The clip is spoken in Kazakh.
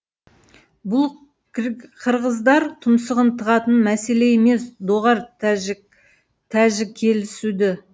бұл киргиздар тұмсығын тығатын мәселе емес доғар тәжікелесуді